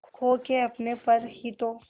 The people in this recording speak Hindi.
खो के अपने पर ही तो